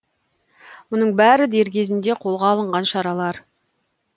мұның бәрі дер кезінде қолға алынған шаралар